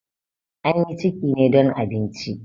An yi ciki ne don abinci.